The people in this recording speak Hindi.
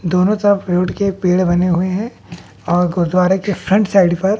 दोनों तरफ फ्रूट पेड़ बने हुए हैं और गुरुद्वारे के फ्रंट साइड पर--